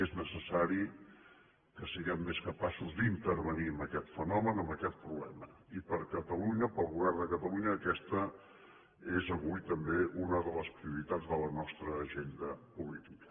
és necessari que siguem més capaços d’intervenir en aquest fenomen en aquest problema i per catalunya pel govern de catalunya aquesta és avui també una de les prioritats de la nostra agenda política